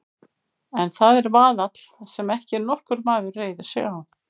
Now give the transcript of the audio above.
En það er vaðall sem ekki nokkur maður reiðir sig á.